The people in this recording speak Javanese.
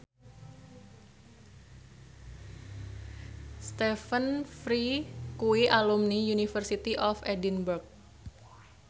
Stephen Fry kuwi alumni University of Edinburgh